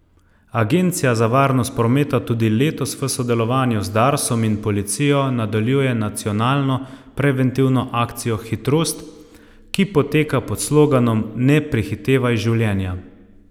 Agencija za varnost prometa tudi letos v sodelovanju z Darsom in policijo nadaljuje nacionalno preventivno akcijo Hitrost, ki poteka pod sloganom Ne prehitevaj življenja.